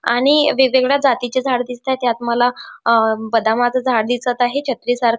आणि वेगवेगळ्या जातीचे झाडं दिसताएत यात मला अ बदामाच झाड दिसत आहे छत्री सारख--